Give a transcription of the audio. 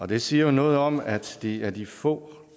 det siger jo noget om at det er de få